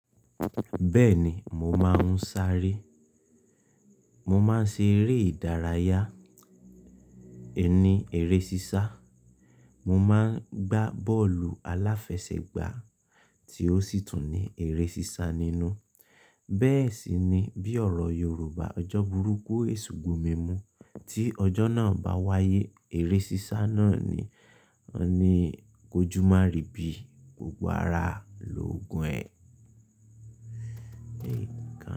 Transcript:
Bẹ́ẹ̀ni, mo máa ń sáré. Mo máa ń ṣe eré ìdárayá, ẹni eré sísá. Mo máa ń gbá bọ́ọ̀lù aláfẹsẹ̀gbá tí ó sì tún ní eré sísá nínú. Bẹ́ẹ̀ sì ni bí ọ̀rọ̀ Yorùbá "ọjọ́ burúkú èṣù gbomí mú" tí ọjọ́ náà bá wáyé, eré sísá náà ni ó ní kójúmárì ibi gbogbo ara lòógun ẹ.